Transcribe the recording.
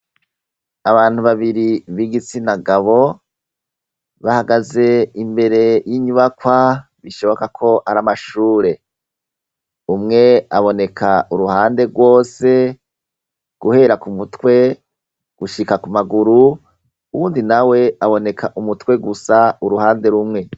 abantu babiri b'igitsina gabo bahagaze imbere y'inyubakwa bishoboka ko ari amashure umwe aboneka uruhande rwose guhera ku mutwe gushika ku maguru uwundi na we aboneka umutwe gusa uruhande rumwe